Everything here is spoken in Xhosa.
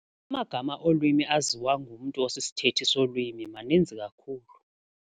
Amagama olwimi aziwa ngumntu osisithethi solwimi maninzi kakhulu.